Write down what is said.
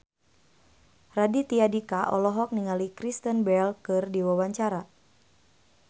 Raditya Dika olohok ningali Kristen Bell keur diwawancara